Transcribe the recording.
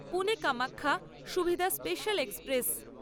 Pune Kamakhya Suvidha special express